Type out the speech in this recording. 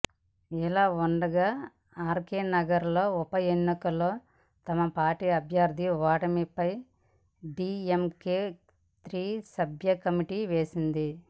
ఇలావుండగా ఆర్కేనగర్ ఉపఎన్నికల్లో తమ పార్టీ అభ్యర్థి ఓటమిపై డీఎంకే త్రిసభ్య కమిటీని వేసింది